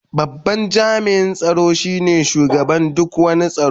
Babban jami'in tsaro shine shugaban duk wani tsaro.